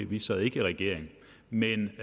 vi sad ikke i regering men